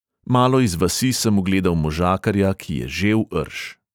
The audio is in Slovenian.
Malo iz vasi sem ugledal možakarja, ki je žel rž.